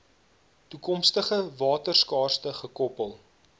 toekomstige waterskaarste gekoppel